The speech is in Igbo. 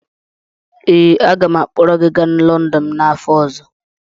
ee, aga m akpọrọ gị gaa London n’afọ ọzọ